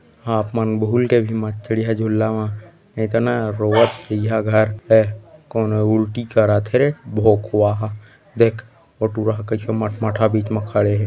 आप मन भूल के भी मत चड़ीहा झुल्ला म नइ त न रोवत जइहा घर ऐ कोन उल्टी करत हे रे भोंकवा ह देख ओ टुरा ह कइसे मट मठहा बीच म खड़े हे।